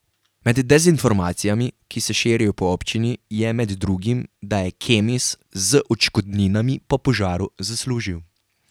Med dezinformacijami, ki se širijo po občini, je med drugim, da je Kemis z odškodninami po požaru zaslužil.